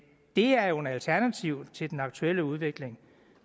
det er jo et alternativ til den aktuelle udvikling